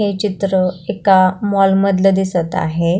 हे चित्र एका माॅल मधल दिसत आहे.